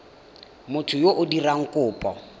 motho yo o dirang kopo